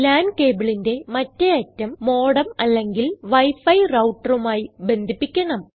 LAN cableന്റെ മറ്റേ അറ്റം മോഡെം അല്ലെങ്കിൽ wi ഫി routerമായി ബന്ധിപ്പിക്കണം